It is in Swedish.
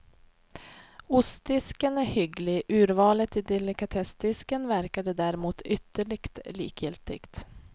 Ostdisken är hygglig, urvalet i delikatessdisken verkade däremot ytterligt likgiltigt.